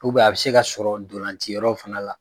a bɛ se ka sɔrɔ ntolanci yɔrɔ fana la.